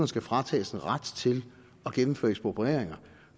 skal fratages en ret til at gennemføre eksproprieringer